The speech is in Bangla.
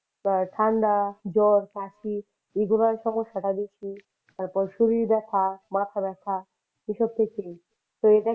বা ঠান্ডা জ্বর কাশি এগুলো হওয়ার সমস্যাটা বেশি তারপরে শরীর ব্যথা, মাথাব্যথা এসব ক্ষেত্রেই । তো এটাই